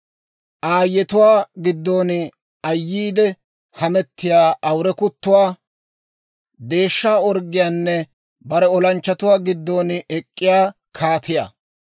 aayetuwaa giddon ayyiidde hamettiyaa awure kuttuwaa, deeshsha orggiyaanne, bare olanchchatuwaa giddon ek'k'iyaa kaatiyaa.